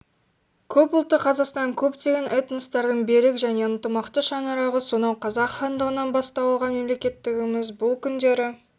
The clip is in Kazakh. көпұлтты қазақстан көптеген этностардың берік және ынтымақты шаңырағы сонау қазақ хандығынан бастау алған мемлекеттігіміз бұл күндері